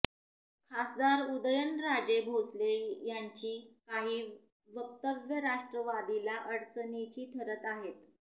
खासदार उदयनराजे भोसले यांची काही वक्तव्य राष्ट्रवादीला अडचणीची ठरत आहेत